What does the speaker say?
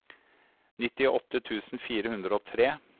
nittiåtte tusen fire hundre og tre